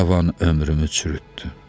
Cavan ömrümü çürütdün.